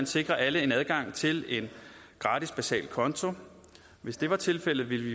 sikre alle adgang til en gratis basal konto hvis det var tilfældet ville vi